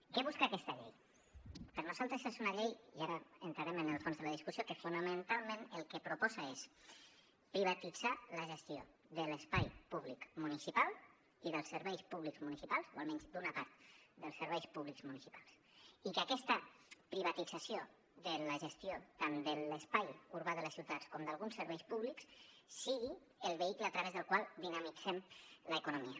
què busca aquesta llei per nosaltres és una llei i ara entrarem en el fons de la discussió que fonamentalment el que proposa és privatitzar la gestió de l’espai públic municipal i dels serveis públics municipals o almenys d’una part dels serveis públics municipals i que aquesta privatització de la gestió tant de l’espai urbà de les ciutats com d’alguns serveis públics sigui el vehicle a través del qual dinamitzen l’economia